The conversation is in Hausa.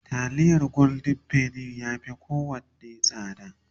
taliyar golden penny ya Fi kowanne tsada